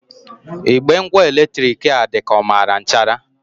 Igbe ngwa eletrik a dị ka ọ mara nchara.